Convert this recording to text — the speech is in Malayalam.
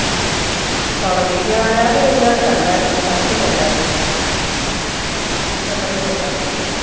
തൊടങ്ങി ഞാൻ ഇതിനകത്ത് കണ്ടായിരുന്നു പരസ്യം കണ്ടായിരുന്നു ൽ ഉണ്ടായിരുന്നു